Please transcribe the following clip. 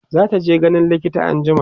zataje ganin likita anjima